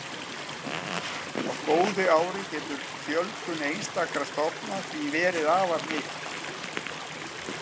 Á góðu ári getur fjölgun einstakra stofna því verið afar mikil.